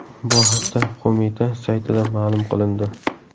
Bu haqda qo‘mita saytida ma’lum qilindi .